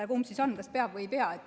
Kumb siis on, kas peab või ei pea?